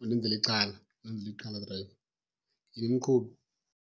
undenzela ixhala undenzela ixhala drayiva. Yhini, mqhubi!